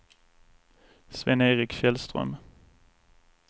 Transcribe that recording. Sven-Erik Källström